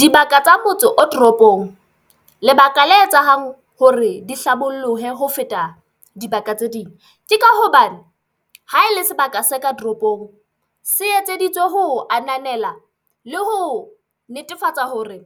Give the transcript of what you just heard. Dibaka tsa motso o toropong, lebaka le etsang hore di hlabollohe ho feta dibaka tse ding, ke ka hoba ha e le sebaka se ka toropong se etseditswe ho a na nela le ho netefatsa hore